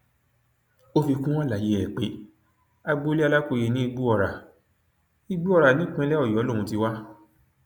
ó fi kún àlàyé ẹ pé agboolé alákòye ní igbóọrá igbóọrá nípínlẹ ọyọ lòún ti wá